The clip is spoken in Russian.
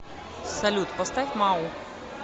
салют поставь мау